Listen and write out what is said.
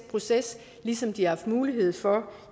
proces ligesom de har haft mulighed for